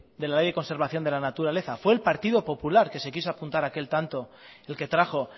de la ley de conservación de la naturaleza fue el partido popular que se quiso apuntar aquel tanto el que trajo